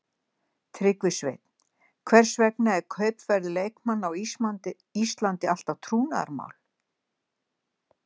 Tryggvi Sveinn Hvers vegna er kaupverð leikmanna á Íslandi alltaf trúnaðarmál.